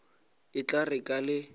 e tla re ka le